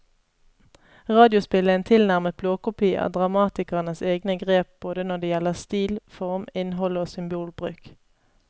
Radiospillet er en tilnærmet blåkopi av dramatikerens egne grep både når det gjelder stil, form, innhold og symbolbruk.